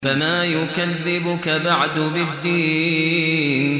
فَمَا يُكَذِّبُكَ بَعْدُ بِالدِّينِ